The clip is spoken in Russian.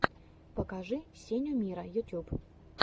покажи сеню миро ютьюб